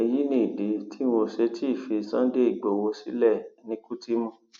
èyí ni ìdí tí wọn ò ṣe tí í fi sunday igbowó sílẹ ní kútímù